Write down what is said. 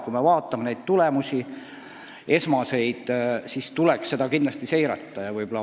Kui me vaatame esmaseid tulemusi, siis on selge, protsessi tuleks kindlasti seirata.